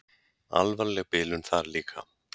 Alvarleg bilun þar líka.